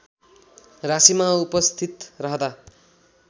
राशीमा उपस्थित रहँदा